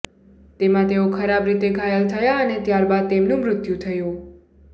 તેમાં તેઓ ખરાબ રીતે ઘાયલ થયા અને ત્યાર બાદ તેમનું મૃત્યુ થયું